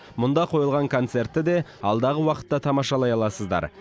мұнда қойылған концертті де алдағы уақытта тамашалай аласыздар